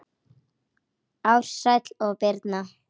Ársæll og Birna.